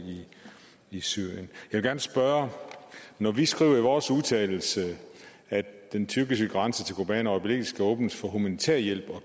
i syrien når vi skriver i vores vedtagelse at den tyrkiske grænse til kobani øjeblikkelig skal åbnes for humanitær hjælp og